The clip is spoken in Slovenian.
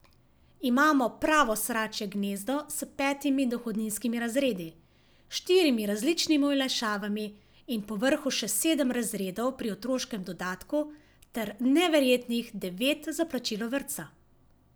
Imamo pravo sračje gnezdo s petimi dohodninskimi razredi, štirimi različnimi olajšavami in povrhu še sedem razredov pri otroškem dodatku ter neverjetnih devet za plačilo vrtca.